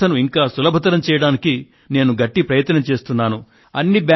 ఈ వ్యవస్థను ఇంకా సులభతరం చేయడానికి నేను గట్టి ప్రయత్నం చేస్తున్నాను